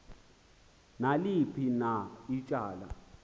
naliphi na ityala